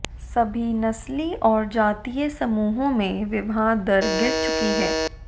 सभी नस्ली और जातीय समूहों में विवाह दर गिर चुकी है